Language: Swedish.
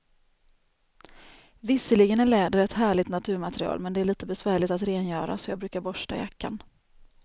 Visserligen är läder ett härligt naturmaterial, men det är lite besvärligt att rengöra, så jag brukar borsta jackan.